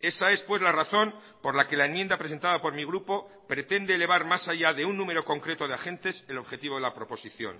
esa es pues la razón por la que la enmienda presentada por mi grupo pretende elevar más allá de un número concreto de agentes el objetivo de la proposición